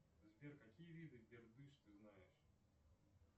сбер какие виды бердыш ты знаешь